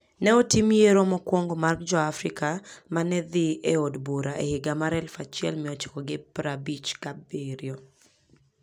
Ne otim yiero mokwongo mar Jo-Afrika ma ne dhi e od bura e higa 1957.